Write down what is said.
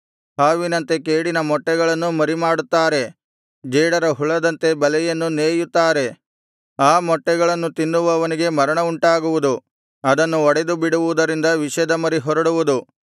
ಹಾವಿನಂತೆ ಕೇಡಿನ ಮೊಟ್ಟೆಗಳನ್ನು ಮರಿಮಾಡುತ್ತಾರೆ ಜೇಡರ ಹುಳದಂತೆ ಬಲೆಯನ್ನು ನೇಯುತ್ತಾರೆ ಆ ಮೊಟ್ಟೆಗಳನ್ನು ತಿನ್ನುವವನಿಗೆ ಮರಣ ಉಂಟಾಗುವುದು ಅದನ್ನು ಒಡೆದುಬಿಡುವುದರಿಂದ ವಿಷದ ಮರಿ ಹೊರಡುವುದು